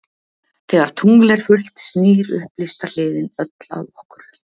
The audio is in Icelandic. Þegar tungl er fullt snýr upplýsta hliðin öll að okkur.